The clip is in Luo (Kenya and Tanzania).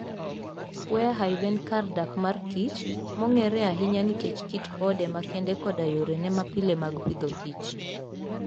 Warre Hive en kar dak mar kich, mong'ere ahinya nikech kit ode makende koda yorene mapile mag Agriculture and Food.